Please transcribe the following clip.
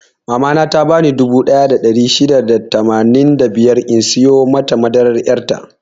Mama na ta bani dubu ɗaya da ɗari shida da tamanin da biyar in siyo mata madaran yar' ta.